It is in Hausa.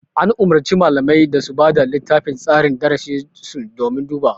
An umurci malamai da su bada littafin tsarin darasi sun domin dubawa